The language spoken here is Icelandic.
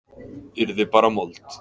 Yrði bara mold.